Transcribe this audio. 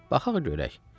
Baxaq görək.